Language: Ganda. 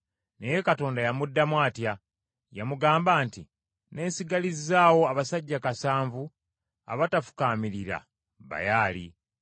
Naye Katonda yamuddamu atya? Yamugamba nti: “Neesigalizzaawo abasajja kasanvu abatafukaamirira Baali.”